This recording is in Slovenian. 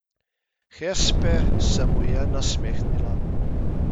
Hespe se mu je nasmehnila.